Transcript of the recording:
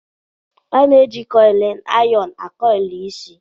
A na-eji kọylịn ayọnu akọyịlụ isi